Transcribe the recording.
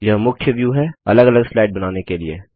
यह मुख्य व्यू है अलग अलग स्लाइड बनाने के लिए